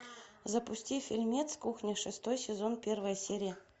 запусти фильмец кухня шестой сезон первая серия